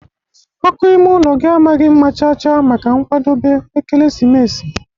ọkụ ime ụlọ gị amaghị mma chaa chaa maka nwadobe ekelesimesi.